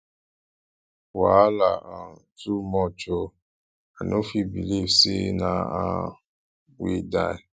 wahala um too much ooo i no fit believe say na ann wey die